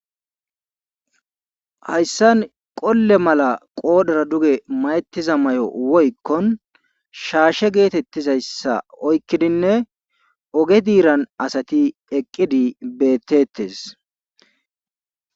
hayssan qolle mala qoodhera duge mayettiza mayo woykkon shaashe geetettizayssa oykkidinne oge diiran asati eqqidi bettettes.